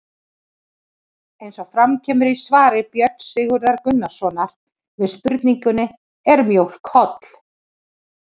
Eins og fram kemur í svari Björns Sigurðar Gunnarssonar við spurningunni Er mjólk holl?